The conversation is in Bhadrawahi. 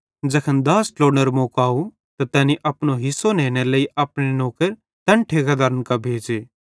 ज़ैखन दाछ़ ट्लोड़नेरो मौको आव त तैनी अपनो हिस्सो नेनेरे लेइ अपने नौकर तैन ठेकेदारन कां भेज़े